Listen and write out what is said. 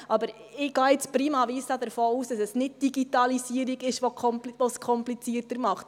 Aber ich gehe jetzt prima vista davon aus, dass es nicht die Digitalisierung ist, die es komplizierter macht.